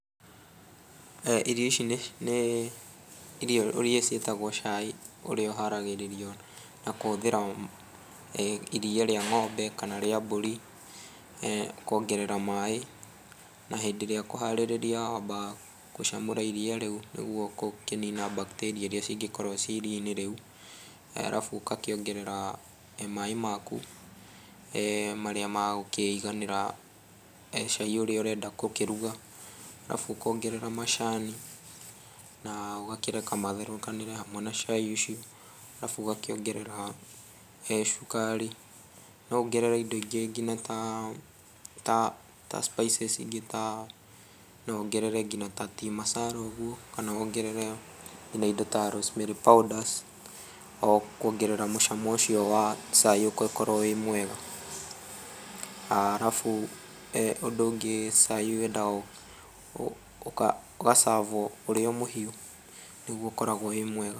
Irio ici nĩ nĩ irio irĩa ciĩtagwo cai ũrĩa ũharagĩrĩrio na kũhũthĩra iria ría ng'ombe kana ría mbũri, kuongerera maĩ, na hĩndĩ írĩa ũkũharĩrĩria wambaga gũcamũra iria rĩu nĩguo gũkĩnina bakitĩria ĩrĩa cingĩkorwo ci iria-inĩ rĩu, alafu ũgakĩongerera maĩ maku, marĩa megũkĩiganĩra cai ũrĩa ũrenda gũkĩruga, alafu ũkongerera macani na ũgakireka matherũkanĩre hamwe na cai ũcio, alafu ũgakĩongerera cukari. Nowongerere indo ingĩ nginya ta, ta, ta spices ingĩ ta, nowongerere nginya ta tea masara ũguo, kana wongerere, nginya indo ta rosemary powder, o kuongerera mucamo ũcio wa cai ũkorwo wĩ mwega. Alafu cai ũndũ ũngĩ cai wendaga ũga-serve-o ũrio mũhiũ, nĩguo ũkoragwo wĩ mwega.